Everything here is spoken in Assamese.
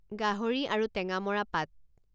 গাহৰি আৰু টেঙামৰা পাত